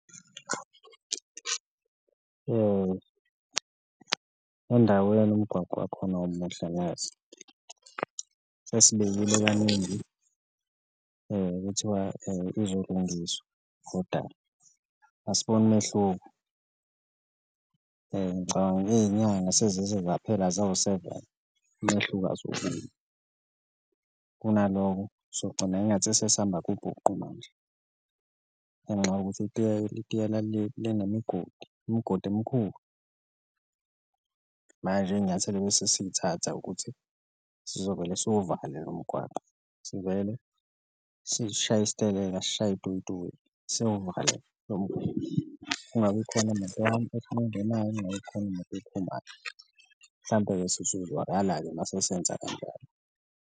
Endaweni umgwaqo wakhona awumuhle neze, sesibikile kaningi kuthiwa uzolungiswa koda asiboni mehluko ngicabanga ney'nyanga sezize zaphela azawuseveni umehluko asiwuboni, kunaloko sogcina engathi sesamba kubhuqu manje ngenxa yokuthi itiyela linemigodi, imgodi emkhulu. Manje inyathelo ebese siyithatha ukuthi sizovele siwuvale lo mgwaqo sivele sishaye isiteleka, sishaye itoyitoyi siwuvale kungabi khona imoto engenayo, kungabi khona imoto ephumayo, mhlampe-ke sesozwakala-ke uma sesenza kanjalo.